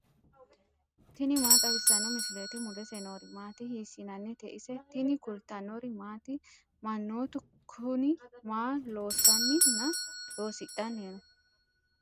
tini maa xawissanno misileeti ? mulese noori maati ? hiissinannite ise ? tini kultannori maati? Manoottu Kuni maa loosanni nna loosidhanni noo?